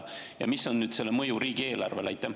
Ja mis on selle mõju riigieelarvele?